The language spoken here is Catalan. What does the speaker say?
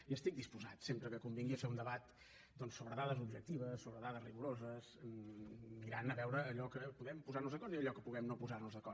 i estic disposat sempre que convingui a fer un debat doncs sobre dades objectives sobre dades rigoroses mirant a veure allò en què podem posar nos d’acord i allò en què podem no posar nos d’acord